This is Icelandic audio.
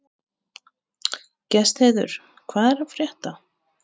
Gestheiður, hvað er að frétta?